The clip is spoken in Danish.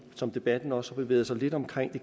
som debatten også har bevæget sig lidt omkring at